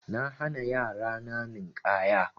Na hana yara na Ninƙaya.